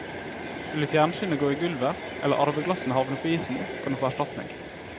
Skulle fjernsynet gå i gulvet eller arveglassene havne på isen, kan du få erstatning.